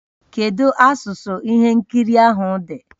Kedu asụsụ ihe nkiri ahụ dị?